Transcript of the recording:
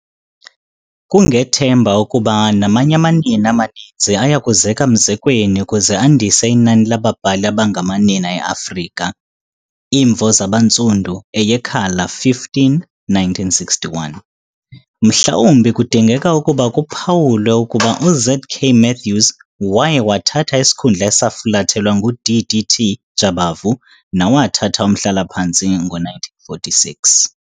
Kungethemba ukuba namanye amanina amaninzi ayakuzeka mzekweni ukuze andise inani lababhali abangamanina eAfrika." Imvo Zabantsundu, eyeKhala 15, 1961. Mhlawumbi kudingeka ukuba kuphawuliwe ukuba uZ.K. Matthews waye wathatha isikhundla esafulathelwa nguD.D.T. Jabavu nawathatha umhlala phantsi ngo-1946.